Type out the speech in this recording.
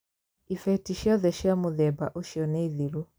Ibeti ciothe cia mũthemba ũcio nĩ thiru.